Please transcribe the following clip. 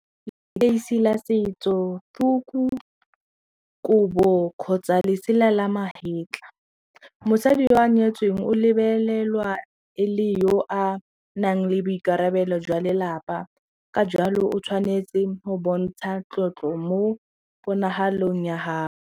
Leteisi la setso, tuku, kobo kgotsa lesela la magetla mosadi yo a nyetsweng o lebelelwa e le yo a nang le boikarabelo jwa lelapa ka jalo o tshwanetse go bontsha tlotlo mo ponahalong ya .